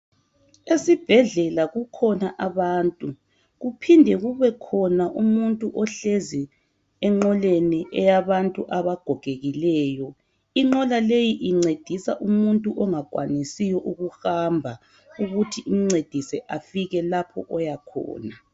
Esibhedlela kukhona abantu kuphinde kube khona umuntu ohlezi enqoleni eyabantu abagogekileyo inqola leyi incedisa umuntu ongakwanisiyo ukuhamba ukuthi imncedise afike lapho oya khona.